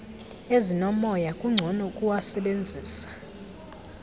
ezinomoya kungcono ukuwasebenzisa